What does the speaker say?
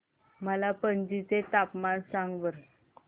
मला पणजी चे तापमान सांगा बरं